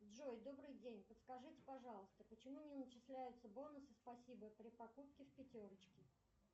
джой добрый день подскажите пожалуйста почему не начисляются бонусы спасибо при покупке в пятерочке